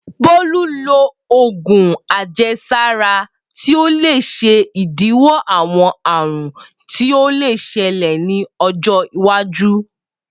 Bolu lo òògùn àjẹsára ti o le ṣe idiwọ awọn àrùn tí o le ṣẹlẹ ni ọjọ iwaju.